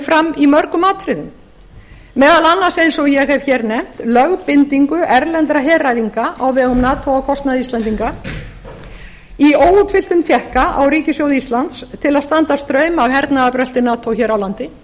fram í mörgum atriðum meðal annars eins og ég hef nefnt lögbindingu erlendra heræfinga á vegum nato á kostnað íslendinga í óútfylltum tékka á ríkissjóð íslands til að standa straum af hernaðarbrölti nato hér á landi